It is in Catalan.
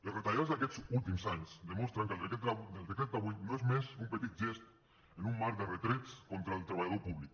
les retallades d’aquests últims anys demostren que el decret d’avui no és més que un petit gest en un mar de retrets contra el treballador públic